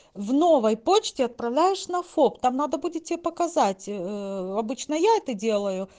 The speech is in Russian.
в новой почте отправляешь на фоп там надо будет тебе показать обычно я это делаю